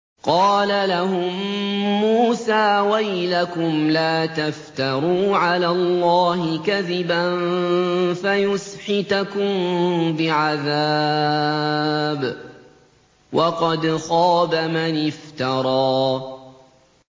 قَالَ لَهُم مُّوسَىٰ وَيْلَكُمْ لَا تَفْتَرُوا عَلَى اللَّهِ كَذِبًا فَيُسْحِتَكُم بِعَذَابٍ ۖ وَقَدْ خَابَ مَنِ افْتَرَىٰ